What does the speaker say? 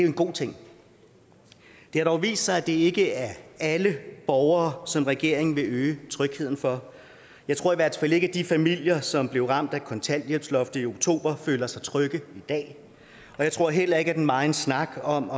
en god ting det har dog vist sig at det ikke er alle borgere som regeringen vil øge trygheden for jeg tror i hvert fald ikke at de familier som blev ramt af kontanthjælpsloftet i oktober føler sig trygge i dag jeg tror heller ikke at den megen snak om